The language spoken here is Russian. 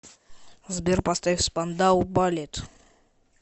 сбер поставь спандау баллет